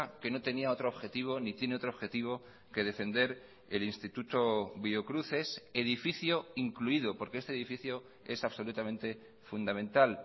que no tenía otro objetivo ni tiene otro objetivo que defender el instituto biocruces edificio incluido porque este edificio es absolutamente fundamental